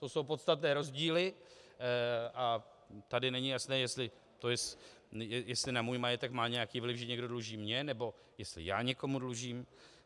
To jsou podstatné rozdíly a tady není jasné, jestli na můj majetek má nějaký vliv, že někdo dluží mně, nebo jestli já někomu dlužím.